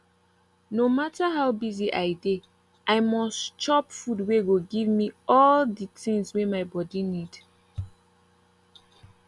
no matter how busy i dey i mus chop food wey go give me all de tins wey my body need